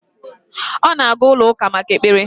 Ọ na-aga ụlọ-Ụka maka ekpere